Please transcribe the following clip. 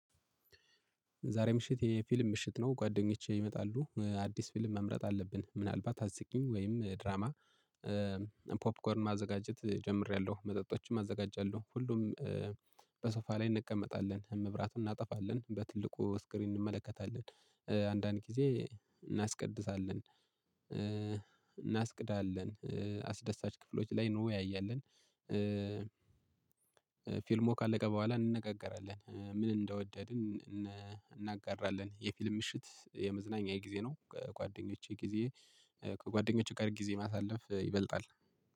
ዛሬ ምሽት የፊልም ምሽት ነው ጓደኞቼ ይመጣሉ አዲስ ፊልም መምረጥ አለብን። ምናልባት አስቂኝ ወይም ድራማ። ፖፕኮርን ማዘጋጀት ጀምሬያለሁ መጠጦችም አዘጋጃለሁ። ሁሉም። በሶፋ ላይ እንቀመጣለን መብራቱን እናጠፋለን በትልቁ ስክሪን እንመለከታለን። አንዳንድ ጊዜ እናስቀድሳለን። እናስቅዳለን አስደሳች ክፍሎች ላይ እንወያያለን። ፊልሙ ካለቀ በኋላ እንነጋገራለን ምን እንደወደድን እናጋራለን። የፊልም ምሽት የመዝናኛ የጊዜ ነው። ከጓደኞቼ ጊዜ። ከጓደኞቼ ጋር ጊዜ ማሳለፍ ይበልጣል።